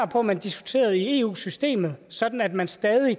på at man diskuterer i eu systemet sådan at man stadig